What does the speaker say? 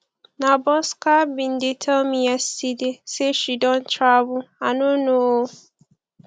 na bosca bin dey tell me yesterday say she don travel i no know ooo